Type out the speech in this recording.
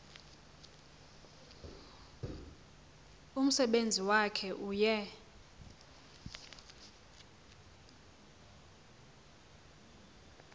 umsebenzi wakhe uye